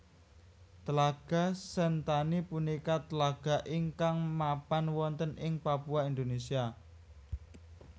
Tlaga Sentani punika tlaga ingkang mapan wonten ing Papua Indonesia